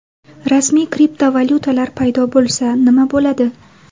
Rasmiy kriptovalyutalar paydo bo‘lsa nima bo‘ladi?